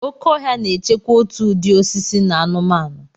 Oke ọhịa na-echekwa òtù ụdị osisi na anụmanụ.